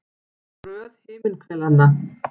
Um röð himinhvelanna.